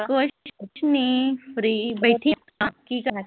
ਕੁਸ਼ ਨੀਂ ਫਰੀ ਬੈਠੇ ਆਂ ਆਪਾਂ ਕੀ ਕਰਨਾ।